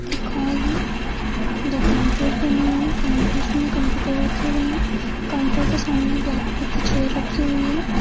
एक हॉल है दो काउंटर्स बने हुए है काउंटर्स मे कम्प्युटर रखे हुए है काउंटर के सामने ब्लेक कलर की चेयर रखी हुई है।